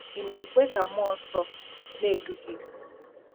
Ị̀ Na-ekwe Ka Mmụọ Nsọ Na-edu Gị?